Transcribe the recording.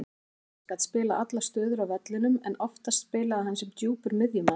Edwards gat spilað allar stöður á vellinum en oftast spilaði hann sem djúpur miðjumaður.